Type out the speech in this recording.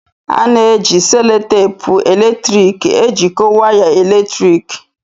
A na-eji selotepu eletrik ejikọta waya eletriki